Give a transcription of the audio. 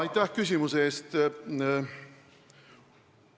Aitäh küsimuse eest!